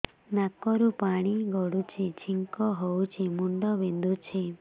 ନାକରୁ ପାଣି ଗଡୁଛି ଛିଙ୍କ ହଉଚି ମୁଣ୍ଡ ବିନ୍ଧୁଛି